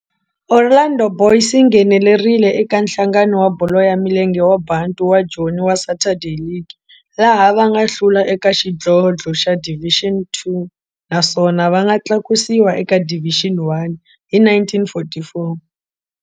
Orlando Boys yi nghenelerile eka Nhlangano wa Bolo ya Milenge wa Bantu wa Joni wa Saturday League, laha va nga hlula eka xidlodlo xa Division Two naswona va nga tlakusiwa eka Division One hi 1944.